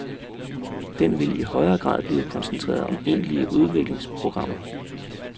Den vil i højere grad blive koncentreret om egentlige udviklingsprogrammer.